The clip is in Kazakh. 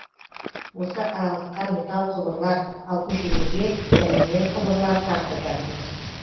осы аралыққа металл құбырлар ал көшелерге полимер құбырлар тартып жатырмыз